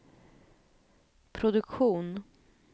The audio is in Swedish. produktion